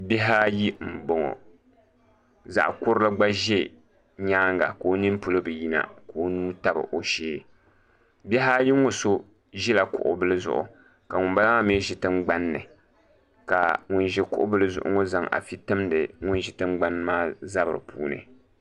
Bihi ayi n boŋo zaɣ kurili gba ʒɛ nyaanga ka o nini polo bi yina ka o nuu tabi o shee bihi ayi ŋo so ʒila kuɣu bili zuɣu ka ŋunbala maa mii ʒi tingbanni ka ŋun ʒi kuɣu bili zuɣu ŋo zaŋ afi timdi ŋun ʒi tingbani maa zabiri puuni